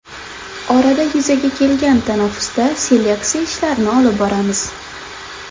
Orada yuzaga kelgan tanaffusda seleksiya ishlarini olib boramiz.